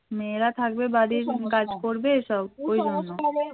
মেয়েরা থাকবে বাড়ির কাজ করবে সব ওই জন্য